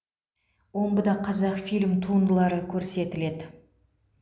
омбыда қазақфильм туындылары көрсетіледі